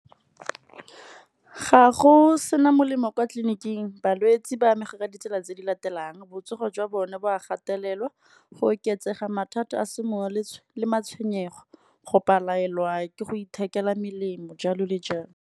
Ga go sena melemo kwa tleliniking balwetsi ba amega ka ditsela tse di latelang. Botsogo jwa bone bo a gatelelwa go oketsega mathata a le matshwenyego, go palelwa ke go ithekela melemo jalo le jalo.